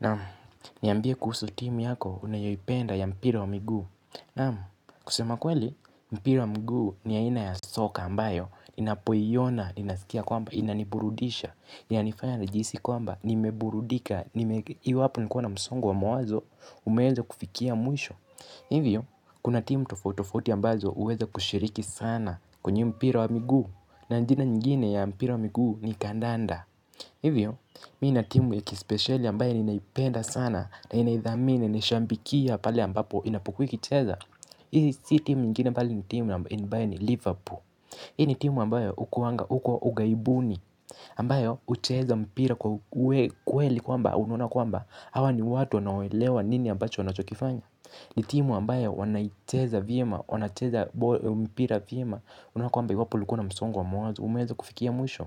Naam, niambie kuhusu timu yako unayoipenda ya mpira wa miguu. Naam, kusema kweli, mpira wa mguu ni aina ya soka ambayo inapoiona ninaskia kwamba inaniburudisha ina nifanya nijihisi kwamba nimeburudika iwapo nilikuwa na msongo wa mawazo. Umeweza kufikia mwisho. Hivyo, kuna timu tofautitofauti ambazo huweza kushiriki sana kwenye mpira wa miguu na jina ingine ya mpira wa miguu ni kandanda. Hivyo, mimi nina timu ya kispesheli ambayo ninaipenda sana na ninaidhamini nishambikia pale ambapo inapukua ikicheza. Hii si timu nyingine bali ni timu ambayo ni Liverpool. Hii ni timu ambayo hukuanga, huko ughaibuni ambayo hucheza mpira kwa kweli kwamba unaona kwamba hawa ni watu wanaoelewa nini ambacho wanachokifanya. Ni timu ambayo wanaicheza vyema, wanacheza mpira vyema unaona kwamba Liverpool ikiwa na msongo wa mawazo umeweza kufikia mwisho.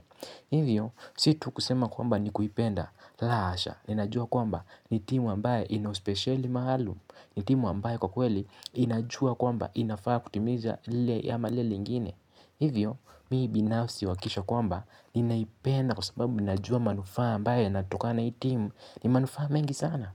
Hivyo, si tu kusema kwamba ni kuipenda, la hasha, ninajua kwamba ni timu ambayo ina uspesheli maalum. Ni timu ambayo kwa kweli, inajua kwamba inafaa kutimiza lile ama lile lingine. Hivyo mimi binafsi huhakikisha kwamba ninaipenda kwa sababu ninajua manufaa ambayo yanatokana na hii timu. Ni manufaa mengi sana.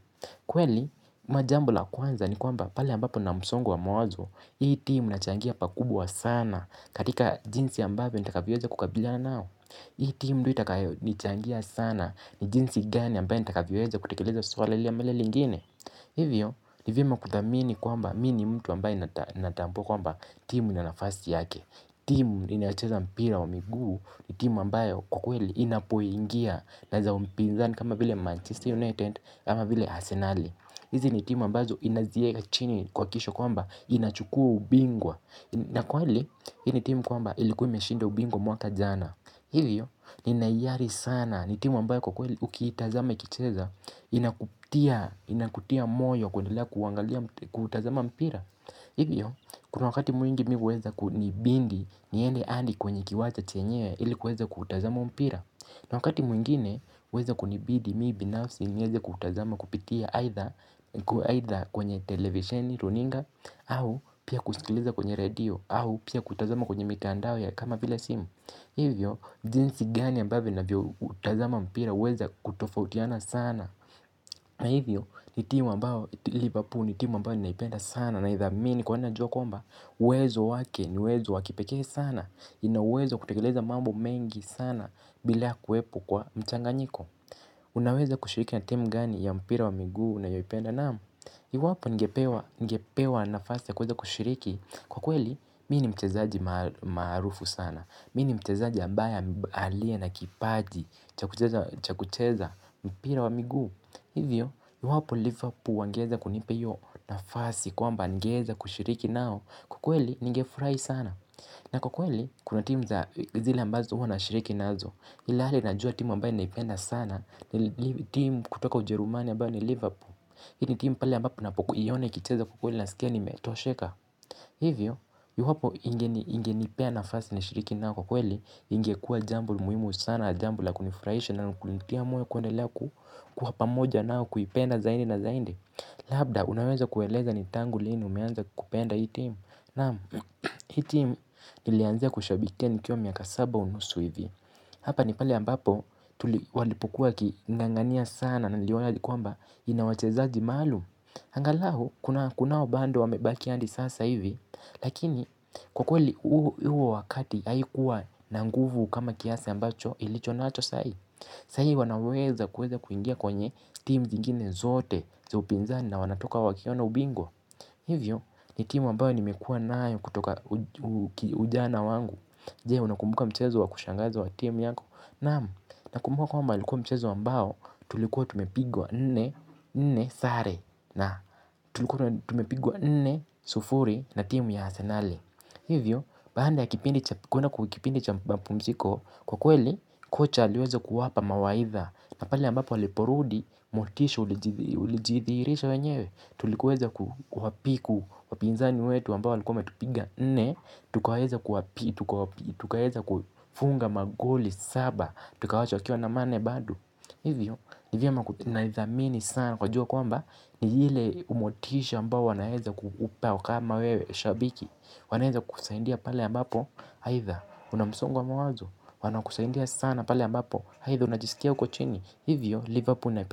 Kweli ama jambo la kwanza ni kwamba pale ambapo mna msongo wa mawazo hii timu inachangia pakubwa sana katika jinsi ambavyo nitakavyoweza kukabiliana nao. Hii timu ndiyo itakayo nichangia sana ni jinsi gani ambayo nitakavyo weza kutekeleza suala lile ama lile lingine. Hivyo ni vyema kudhamini kwamba mimi ni mtu ambaye natambua kwamba timu ina nafasi yake. Timu inayocheza mpira wa miguu ni timu ambayo kwa kweli inapoingia na za upinzani kama vile Manchester United ama vile Asenali. Hizi ni timu ambazo inazieka chini kuhakikisha kwamba inachukua ubingwa. Na kweli hii ni timu kwamba ilikuwa umeshinda ubingwa mwaka jana. Hivyo nina hiari sana ni timu ambayo kwa kweli ukiitazama ikicheza inakutia moyo kuendelea kuangalia kutazama mpira. Hivyo kuna wakati mwingi mimi huweza kunibidi niende hadi kwenye kiwanja chenyewe ili kuweza kutazama mpira. Na wakati mwingine huweza kunibidi mimi binafsi niweze kutazama kupitia aidha kwenye televisheni, runinga, au pia kusikiliza kwenye redio au pia kuitazama kwenye mitandao kama vile simu. Hivyo jinsi gani ambavyo ninavyo utazama mpira huweza kutofautiana sana. Na hivyo, ni timu ambayo Liverpool ni timu ambayo ninaipenda sana naidhamini kuwa najua kwamba uwezo wake ni uwezo wa kipekee sana ina uwezo wa kutekeleza mambo mengi sana bila kuwepo kwa mchanganyiko. Unaweza kushiriki na timu gani ya mpira wa miguu unayoipenda? Naam, iwapo ningepewa nafasi ya kuweza kushiriki kwa kweli, mimi ni mchazaji maarufu sana. Mimi ni mchezaji ambaye aliye na kipaji cha kucheza mpira wa miguu hivyo iwapo Liverpool wangeweza kunipa hiyo nafasi kwamba ningeweza kushiriki nao. Kwa kweli ningefurahi sana na kwa kweli, kuna timu za zile ambazo huwa nashiriki nazo ilhali najua timu ambayo naipenda sana. Timu kutoka ujerumani ambayo ni Liverpool. Hii ni timu pale ambapo ninapo kuiona ikicheza kwa kweli nasikia nimetosheka. Hivyo iwapo ingenipea nafasi nishiriki nao kwa kweli ingekuwa jambo muhimu sana. Jambo la kunifurahisha na kulifanya moyo kuendelea kuwa pamoja nao. Kuipenda zaidi na zaidi. Labda, unaweza kueleza ni tangu lini umeanza kupenda hii timu? Naam, hii timu nilianze kushabikia nikiwa miaka saba unusu hivi. Hapa ni pale ambapo tuli walipokuwa wakingangania sana na niliona ni kwamba ina wachezaji maalum. Angalau kunao bado wamebakia hadi sasa hivi lakini kwa kweli huo wakati haikuwa na nguvu kama kiasa ambacho ilicho nacho sahii. Sahii wanaweza kuweza kuingia kwenye timu zingine zote za upinzani na wanatoka wakiwa na ubingwa hivyo ni timu ambayo nimekuwa nayo kutoka ujana wangu. Je unakumbuka mchezo wa kushangaza wa timu yako? Naam, nakumbuka kwamba ilikuwa mchezo ambayo tulikuwa tumepigwa nne sare na tulikuwa tumepigwa nne sufuri na timu ya asenali. Hivyo, baada ya kipindi cha mapumziko kwa kweli kocha aliweza kuwapa mawaidha. Na pale ambapo waliporudi motisho ulijibiwa uli jidhihirisha wenyewe tulikoweza kuwapiku wapinzani wetu ambao walikuwa wametupiga nne tukaweza kuwapita tukaweza kuwafunga magoli saba tukawaacha wakiwa na manne bado hivyo ni vyema na idhamini sana kujua kwamba ni ile kumotisha mbayo wanaweza kukupea kama wewe shabiki. Wanaweza kusaidia pale ambapo aidha una msongo wa mawazo. Wanakusaidia sana pale ambapo aidha unajisikia uko chini hivyo Liverpool naipenda.